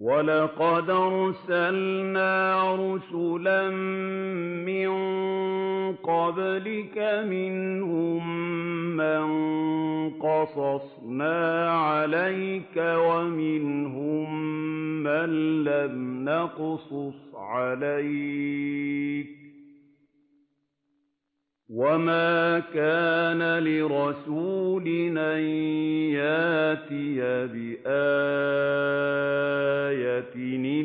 وَلَقَدْ أَرْسَلْنَا رُسُلًا مِّن قَبْلِكَ مِنْهُم مَّن قَصَصْنَا عَلَيْكَ وَمِنْهُم مَّن لَّمْ نَقْصُصْ عَلَيْكَ ۗ وَمَا كَانَ لِرَسُولٍ أَن يَأْتِيَ بِآيَةٍ